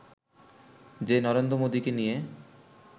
যে নরেন্দ্র মোদিকে নিয়ে